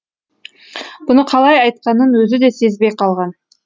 бұны қалай айтқанын өзі де сезбей қалған